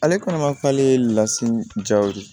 Ale kɔnɔma k'ale lasigi jaw de